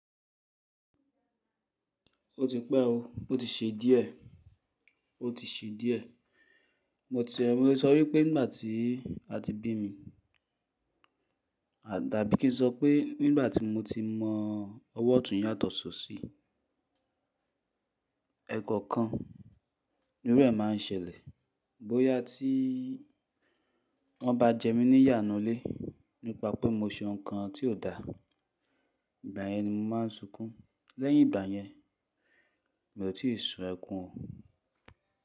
Ó ti pẹ́ o, ó ti ṣe díẹ̀, ó ti ṣe díẹ̀. Mo ti, mo sọ wípé nígbà tí a ti bí mi, àdá bí kí n sọ pé nígbà tí mo ti mọ ọwọ́ ọ̀tún yàtọ̀ sí òsì, ẹ̀kan kan ńí irú e mà ń ṣẹlẹ̀. Bóyá tí wọ́n bá jẹ mí ní yà nulé nípa pé mo ṣe nǹkan tí ò da, ìgbà yẹn ni mà ń sunkún. Lẹ́yìn ìgbà yẹn mi ò tíì sun ẹkún o.